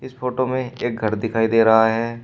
Photo में एक घर दिखाई दे रहा है।